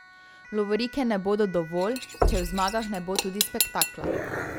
Lovorike ne bodo dovolj, če v zmagah ne bo tudi spektakla.